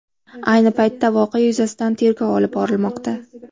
Ayni paytda voqea yuzasidan tergov olib borilmoqda.